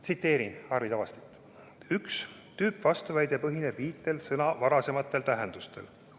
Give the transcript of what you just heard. Tsiteerin Arvi Tavastit: "Üks tüüpvastuväide põhineb sõna varasematel tähendustel.